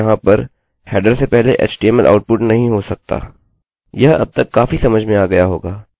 शुरुआती नियम के बावजूद भी यहाँ पर हेडर से पहले एचटीएमएलhtml आउटपुटoutput नहीं हो सकता